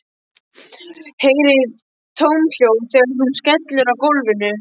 Heyri tómahljóð þegar hún skellur á gólfinu.